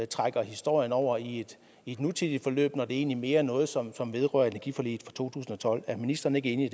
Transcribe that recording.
trækker historien over i et nutidigt forløb når det egentlig mere er noget som som vedrører energiforliget fra to tusind og tolv er ministeren ikke enig